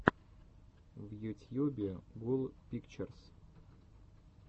в ютьюбе гул пикчерс